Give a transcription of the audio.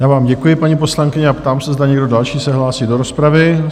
Já vám děkuji, paní poslankyně, a ptám se, zda někdo další se hlásí do rozpravy?